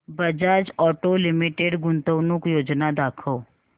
Bajaj auto limited गुंतवणूक योजना दाखव